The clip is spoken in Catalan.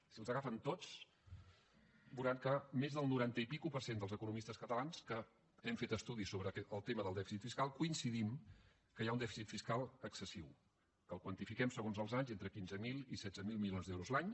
si els agafen tots veuran que el noranta i escaig per cent dels economistes catalans que hem fet estudis sobre el tema del dèficit fiscal coincidim que hi ha un dèficit fiscal excessiu que el quantifiquem segons els anys entre quinze mil i setze mil milions d’euros l’any